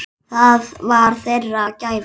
Það var þeirra gæfa.